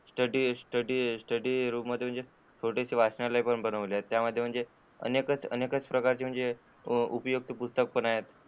Study room मध्ये जे छोटेसे वाचनालय पण बनवलेले आहे. त्या मध्ये अनेक प्रकारची म्हणजे उपयुक्त पुस्तक आहेत.